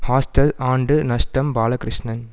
hostel ஆண்டு நஷ்டம் பாலகிருஷ்ணன்